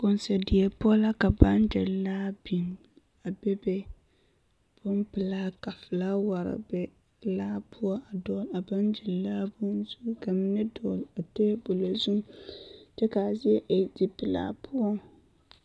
Konso die poɔ la ka baŋgyiri laa biŋ a bebe bompelaa ka felaaware be laa poɔ a dɔgele a baŋgyi laa bonzu ka mine dɔgele a teebolo zuŋ kyɛ k'a zie e zipelaa poɔ